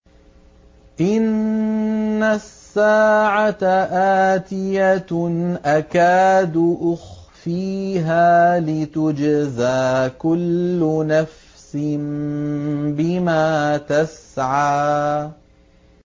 إِنَّ السَّاعَةَ آتِيَةٌ أَكَادُ أُخْفِيهَا لِتُجْزَىٰ كُلُّ نَفْسٍ بِمَا تَسْعَىٰ